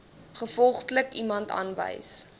gevolglik iemand aanwys